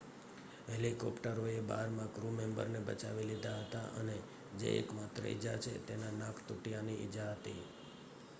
હેલિકોપ્ટરોએ બાર ક્રૂમેમ્બરને બચાવી લીધા હતા અને જે એકમાત્ર ઈજા છે તેમાં નાક તૂટ્યાંની ઈજા હતી